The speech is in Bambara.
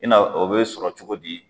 I n'a fɔ o bɛ sɔrɔ cogo di ?